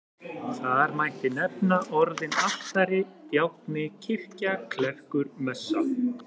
Þar mætti nefna orðin altari, djákni, kirkja, klerkur, messa.